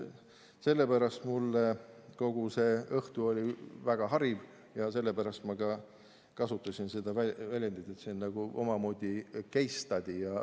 Selle pärast oli kogu see õhtu mulle väga hariv ja sellepärast ma kasutasin seda väljendit, et see on nagu omamoodi case study.